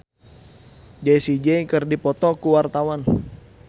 Wahyu Rudi Astadi jeung Jessie J keur dipoto ku wartawan